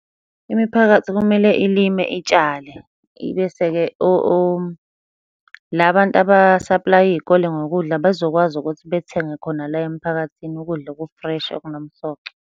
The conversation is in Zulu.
Imiphakathi kumele ilime, itshale, ibese-ke la bantu abasaplaya iy'kole ngokudla bezokwazi ukuthi bethenge khona la emphakathini ukudla oku-fresh, okunomsoco.